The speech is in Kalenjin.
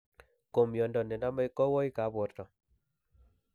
ko miondo ne namei kowoik ab porto